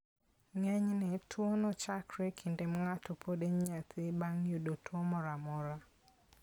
Ngeny'ne tuwono chakore e kinde ma ng'ato pod en nyathi, bang'yudo tuwo moro a mora.